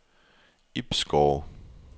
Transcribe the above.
Ibsgårde